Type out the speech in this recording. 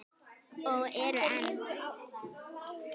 Og eru enn.